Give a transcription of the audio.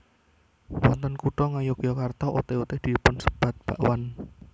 Wonten Kutha Ngayogyakarta oté oté dipun sebat bakwan